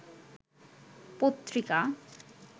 পত্রিকা